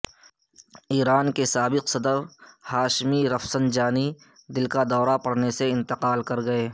ایران کے سابق صدر ہاشمی رفسنجانی دل کا دورہ پڑنے سے انتقال کر گئے